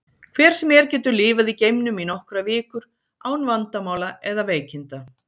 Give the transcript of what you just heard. Hver sem er getur lifað í geimnum í nokkrar vikur án vandamála eða veikinda.